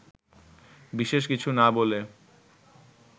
বিশেষ কিছু না বলে